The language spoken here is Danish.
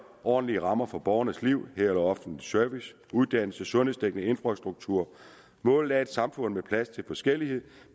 ordentlige rammer for borgernes liv herunder offentlig service uddannelse sundhedsdækning og infrastruktur målet er et samfund med plads til forskellighed